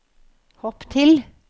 hopp til